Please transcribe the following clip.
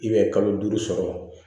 kalo duuru sɔrɔ